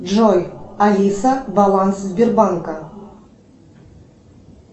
джой алиса баланс сбербанка